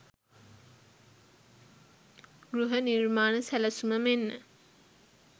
ගෘහ නිර්මාණ සැලසුම මෙන්ම